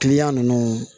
ninnu